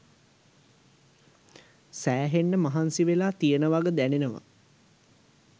සෑහෙන්න මහන්සි වෙලා තියෙන වග දැනෙනවා.